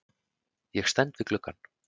Ég stend við gluggann.